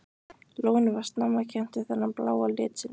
Lónið var snemma kennt við þennan bláa lit sinn.